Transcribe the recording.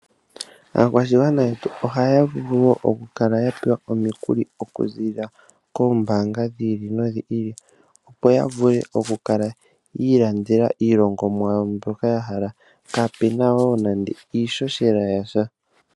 Aakwashigwana yetu, ohaya vulu oku kala ya pewa omikuli, oku ziilila koombaanga dhi ili, nodhi ili. Opo ya vule oku kala yi ilandela iilongomwa yawo mbyoka ya hala. Kapena woo nande iishoshela yasha.